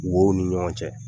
Wow ni ɲɔgɔn cɛ.